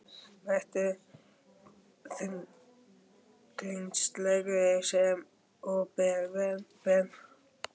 Vetur er þunglyndislegri sem og vera ber.